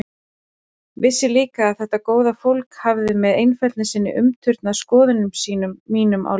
Vissi líka að þetta góða fólk hafði með einfeldni sinni umturnað skoðunum mínum á lífinu.